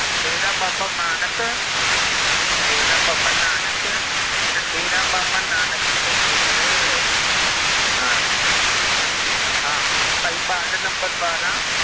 ਡੇਰਾ ਬਾਬਾ ਨਾਨਕ ਡੇਰਾ ਬਾਬਾ ਨਾਨਕ ਤੇ ਡੇਰਾ ਬਾਬਾ ਨਾਨਕ ਭਾਈ ਕੁੜੇ ਹਾਂ ਹਾਂ ਭਾਈ ਵਾਰਡ number ਬਾਰਾਂ